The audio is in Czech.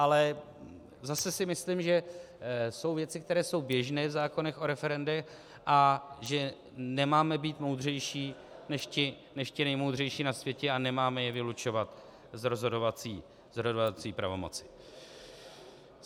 Ale zase si myslím, že jsou věci, které jsou běžné v zákonech o referendech, a že nemáme být moudřejší než ti nejmoudřejší na světě a nemáme je vylučovat z rozhodovací pravomoci.